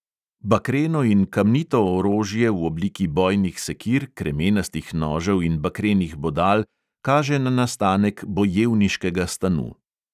Bakreno in kamnito orožje v obliki bojnih sekir, kremenastih nožev in bakrenih bodal kaže na nastanek bojevniškega stanu.